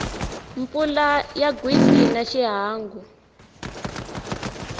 mpfula ya gwitsi a xiangu